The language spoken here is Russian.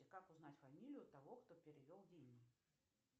как узнать фамилию того кто перевел деньги